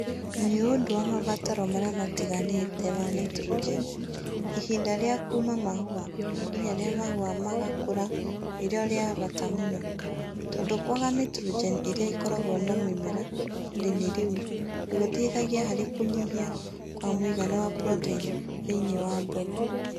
Niũndũ wa mabataro marĩa matigarĩte ma nitrogen, ihinda rĩa kuuma mahũa nginya rĩa mahũa magakũra nĩ rĩo rĩa bata mũno, tondũ kwaga nitrogen ĩrĩa ĩkoragwo na mĩmera ihinda-inĩ rĩu nĩ gũteithagia harĩ kũnyiha kwa mũigana wa proteini thĩinĩ wa mbegu